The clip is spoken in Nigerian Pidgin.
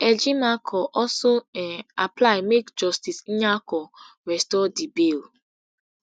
ejimakor also um apply make justice nyako restore di bail